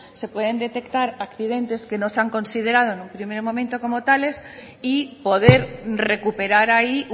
se pueden detectar accidentes que no se han considerado en un primer momento como tales y poder recuperar ahí